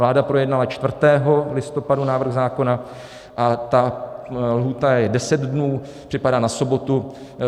Vláda projednala 4. listopadu návrh zákona a ta lhůta je 10 dnů, připadá na sobotu.